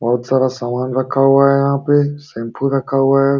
बोहोत सारा समान रखा हुआ है यहाँ पे शेम्पू रखा हुआ है।